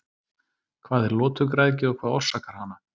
Hvað er lotugræðgi og hvað orsakar hana?